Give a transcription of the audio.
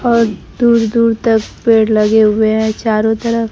और दूर दूर तक पेड़ लगे हुए हैं चारों तरफ--